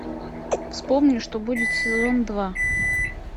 вспомни что будет сезон два